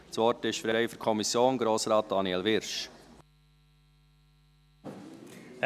Das Wort ist frei für die Kommission, Grossrat Daniel Wyrsch. )